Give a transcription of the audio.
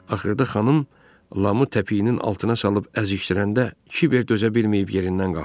Axırda xanım Lamı təpiyinin altına salıb əzərkən Kiver dözə bilməyib yerindən qalxdı.